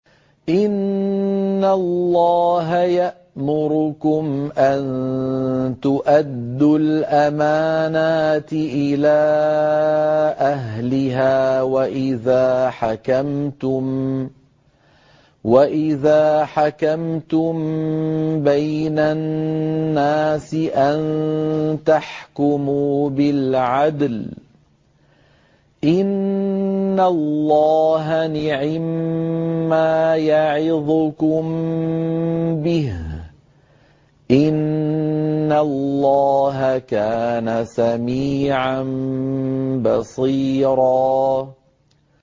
۞ إِنَّ اللَّهَ يَأْمُرُكُمْ أَن تُؤَدُّوا الْأَمَانَاتِ إِلَىٰ أَهْلِهَا وَإِذَا حَكَمْتُم بَيْنَ النَّاسِ أَن تَحْكُمُوا بِالْعَدْلِ ۚ إِنَّ اللَّهَ نِعِمَّا يَعِظُكُم بِهِ ۗ إِنَّ اللَّهَ كَانَ سَمِيعًا بَصِيرًا